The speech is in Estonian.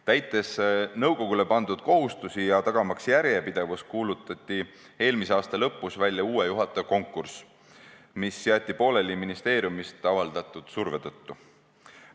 Täites nõukogule pandud kohustusi ja tagamaks järjepidevust, kuulutati eelmise aasta lõpus välja uue juhataja konkurss, mis jäeti pooleli ministeeriumist avaldatud surve tõttu.